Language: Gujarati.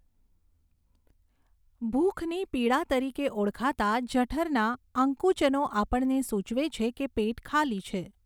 ભૂખની પીડા તરીકે ઓળખાતાં જઠરના આકુંચનો આપણને સૂચવે છે કે પેટ ખાલી છે.